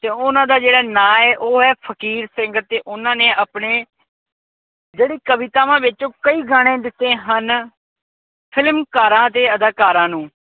ਓਹਨਾ ਦਾ ਜਿਹੜਾ ਨਾ ਐ ਉਹ ਐ ਫ਼ਕੀਰ ਸਿੰਘ ਤੇ ਉਹਨਾਂ ਨੇ ਆਪਣੇ ਜਿਹੜੀ ਕਵਿਤਾਵਾਂ ਵਿੱਚ ਕਈ ਗਾਣੇ ਦਿੱਤੇ ਹਨ, ਫ਼ਿਲਮਕਾਰਾਂ ਤੇ ਅਦਾਕਾਰਾ ਨੂੰ